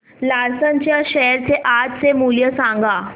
Larsen च्या share चे आजचे मूल्य सांगा